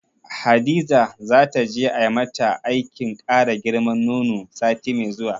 Hadiza zata je ai mata aikin kara girman nono sati mai zuwa.